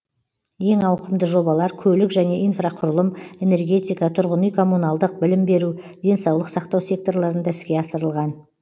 ең ауқымды жобалар көлік және инфрақұрылым энергетика тұрғын үй коммуналдық білім беру денсаулық сақтау секторларында іске асырылған